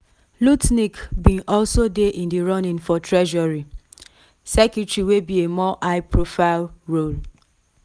lutnick bin also dey in di running for treasury secretary wey be a more high profile role.